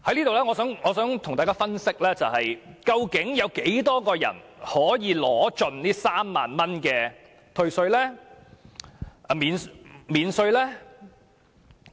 我想在此跟大家分析，究竟有多少人可以盡享該3萬元的稅務寬減？